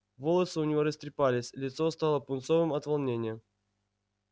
волосы у него растрепались лицо стало пунцовым от волнения